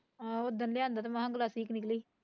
ਆਹੋ ਓਦਣ ਲਿਆਂਦਾ ਤੇ ਮਸ ਗਲਾਸੀ ਕੁ ਨਿਕਲਈ